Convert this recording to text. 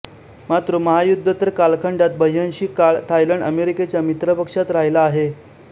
मात्र महायुद्धोतर कालखंडात बह्वंशी काळ थायलंड अमेरिकेच्या मित्रपक्षात राहिला आहे